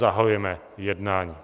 Zahajujeme jednání.